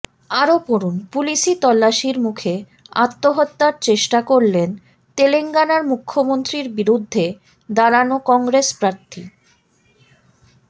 আরও পড়ুন পুলিশি তল্লাশির মুখে আত্মহত্যার চেষ্টা করলেন তেলঙ্গানার মুখ্যমন্ত্রীর বিরুদ্ধে দাঁড়ানো কংগ্রেস প্রার্থী